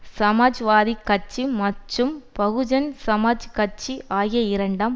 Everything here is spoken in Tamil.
சமாஜ்வாதி கட்சி மற்றும் பகுஜன் சமாஜ் கட்சி ஆகிய இரண்டாம்